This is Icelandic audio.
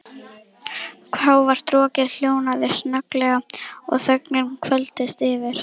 Hávært rokkið hljóðnaði snögglega og þögnin hvolfdist yfir.